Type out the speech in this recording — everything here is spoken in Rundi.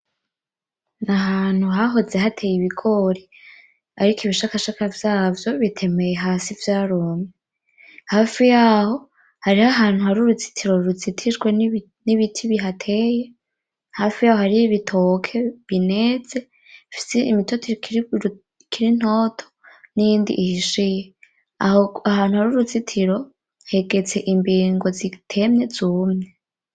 Nahantu hahoze hateye ibigori ariko ibishakashaka vyaho navyo bitemeye hasi vyarumye, hafi yaho hariho hari uruzitiro ruzitijwe n'ibiti bihateye, hafi yaho hariho ibitoke bineze bifise imitoto ikiri ntoto niyindi ihishiye. Ahantu hari uruzitiro hegetse imbingo zitemye zumye.